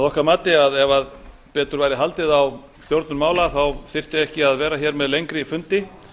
okkar mati að ef betur væri haldið á stjórnun mála þyrfti ekki að vera hér með lengri fundi